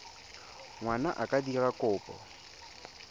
ngwana a ka dira kopo